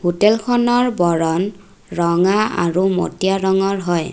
হোটেলখনৰ বৰণ ৰঙা আৰু মটীয়া ৰঙৰ হয়।